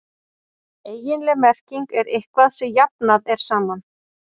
eiginleg merking er „eitthvað sem jafnað er saman“